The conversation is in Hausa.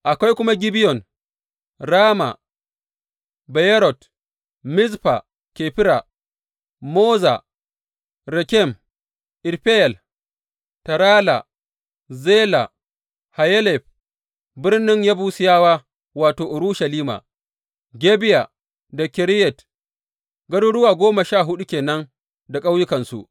Akwai kuma Gibeyon, Rama, Beyerot, Mizfa Kefira, Moza, Rekem, Irfeyel, Tarala, Zela, Hayelef, birnin Yebusiyawa wato, Urushalima, Gibeya da Kiriyat, garuruwa goma sha huɗu ke nan da ƙauyukansu.